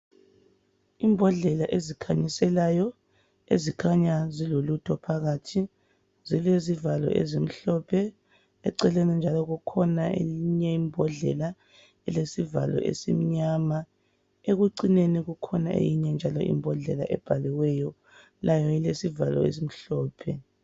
Imbodlela ezikhanyiselayo ezikhanya zilo lutho phakathi zilezivalo ezimhlophe. Eceleni njalo kukhona eyinye imbodlela elesivalo esimnyama, ekucineni kukhona eyinye njalo imbodlela ebhaliweyo layo elesivalo esimhlophe.